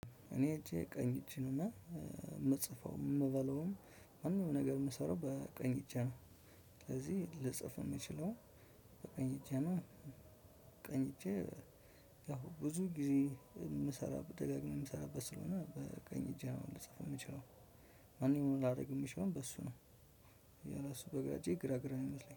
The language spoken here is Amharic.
እኔ እጄ ቀኝ እጄ ነውና የምጽፈውም የምበለውም ማንኛውንም ነገር የምሰራው በቀኝ እጄ ነው። ልጽፍ የምችለው በቀኝ እጄ ነው። ቀኝ እጄ። ያው ብዙ ጊዜ የምሰራው ደጋግሜ የምሰራበት ስለሆነ በቀኝ እጄ ነው። ልጽፍ የምችለው ማንኛውንም ላደርግ የሚችለው በሱ ነው። እሱ በግራ እጄ ግራ ግራ ነው የሚመስለኝ